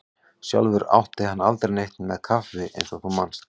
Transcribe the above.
Sjálfur átti hann aldrei neitt með kaffi eins og þú manst.